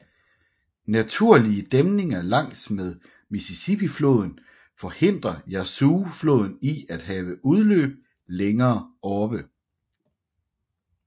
Naturlige dæmninger langs med Mississippi floden forhindrer Yazoo floden i at have udløb længere oppe